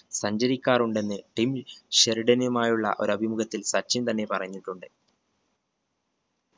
സഞ്ചരിക്കാറുണ്ടെന്ന് Tim ഷെറിടനുമായുള്ള ഒരഭിമുഖത്തിൽ സച്ചിൻ തന്നെ പറഞ്ഞിട്ടുണ്ട്